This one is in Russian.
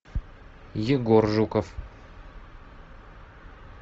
егор жуков